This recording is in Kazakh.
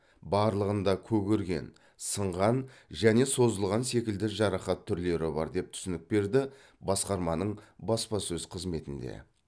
барлығында көгерген сынған және созылған секілді жарақат түрлері бар деп түсінік берді басқарманың баспасөз қызметінде